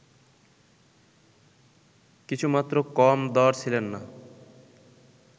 কিছুমাত্র কম দড় ছিলেন না